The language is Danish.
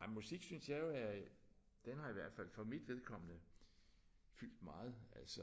Ej men musik synes jeg jo er den har i hvert fald for mit vedkommende fyldt meget altså